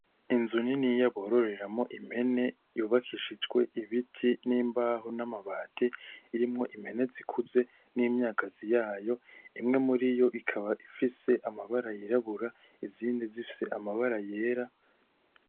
Inzu niniya bororeramwo impene yubakishijwe ibiti n'imbaho n'amabati irimwo impene zikuze n'imyagazi yayo imwe muriyo ikaba ifise amabara yirabura izindi zifise amabara yera .